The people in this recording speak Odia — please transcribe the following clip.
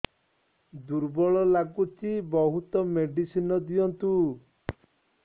ଦୁର୍ବଳ ଲାଗୁଚି ବହୁତ ମେଡିସିନ ଦିଅନ୍ତୁ